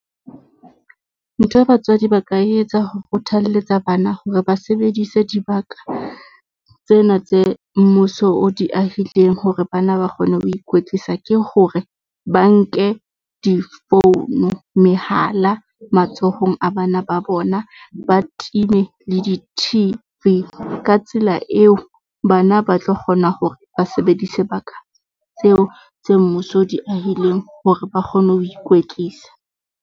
Ntho e batswadi ba ka etsa ho kgothalletsa bana hore ba sebedise dibaka tsena tse mmuso o di ahileng hore ba na ba kgone ho ikwetlisa ke hore, ba nke di-phone-u mehala matsohong a bana ba bona, ba time le di-T_V. Ka tsela eo, bana ba tlo kgona hore ba sebedise baka tseo tse mmuso o di ahileng hore ba kgone ho ikwetlisa.